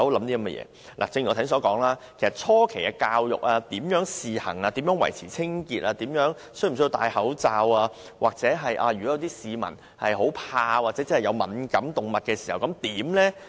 正如我剛才所說，措施實施初期如何教育公眾、如何試行、如何維持清潔、動物是否需要戴口罩，又或如果有市民害怕動物或對動物敏感，該怎麼辦？